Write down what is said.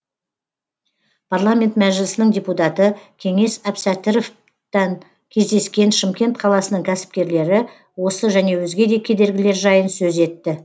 парламент мәжілісінің депутаты кеңес әбсәтіровтан кездескен шымкент қаласының кәсіпкерлері осы және өзге де кедергілер жайын сөз етті